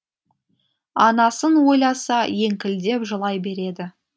анасын ойласа еңкілдеп жылай береді